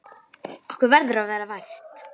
Okkur verður að vera vært!